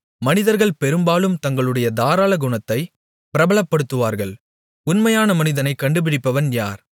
மனிதர்கள் பெரும்பாலும் தங்களுடைய தாராள குணத்தை பிரபலப்படுத்துவார்கள் உண்மையான மனிதனைக் கண்டுபிடிப்பவன் யார்